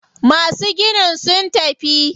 Masu ginin sun tafi.